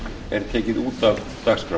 er tekið út af dagskrá